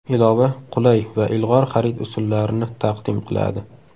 Ilova qulay va ilg‘or xarid usullarini taqdim qiladi.